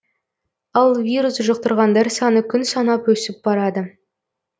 ал вирус жұқтырғандар саны күн санап өсіп барады